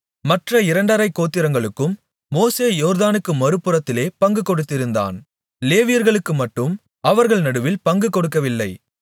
மற்ற இரண்டரைக் கோத்திரங்களுக்கும் மோசே யோர்தானுக்கு மறுபுறத்திலே பங்கு கொடுத்திருந்தான் லேவியர்களுக்குமட்டும் அவர்கள் நடுவில் பங்கு கொடுக்கவில்லை